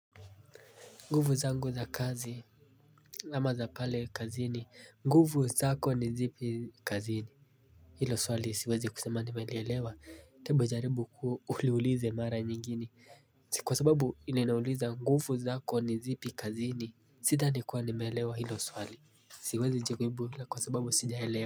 Nguvu zangu za kazi Lama za pale kazini, nguvu zako ni zipi kazini Hilo swali siwezi kusema nimelielewa, tebu jaribu kuliuliza mara nyingine Kwa sababu iliniuliza nguvu zako ni zipi kazini Sidhani kuwa nimeelewa hilo swali Siwezi lijibu kwa sababu sijaelewa.